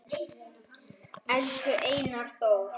Elsku Einar Þór